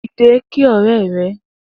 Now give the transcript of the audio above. Dide kí ọrẹ rẹ